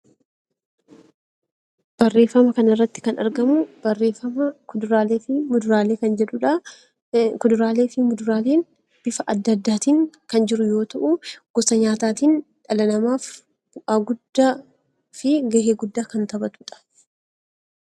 Barreeffama kana irratti kan argamu barreeffama kuduraalee fi muduraalee kan jedhudha. Kuduraalee fi muduraalee bifa adda addaatiin kan jiru yoo ta'u, gosa nyaataatiin dhala namaaf bu'aa fi gahee guddaa kan taphatudha.